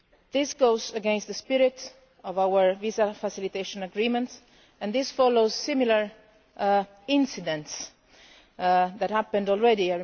This goes against the spirit of our visa facilitation agreement and follows similar incidents that have happened already.